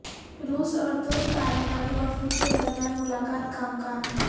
روس اور ترک پارلیمانی وفود کے درمیان ملاقات کا امکان